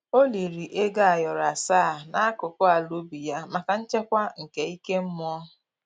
O liri ego ayoro asaa n'akụkụ ala ubi ya maka nchekwa nke ike mmụọ